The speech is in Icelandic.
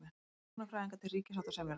Hjúkrunarfræðingar til ríkissáttasemjara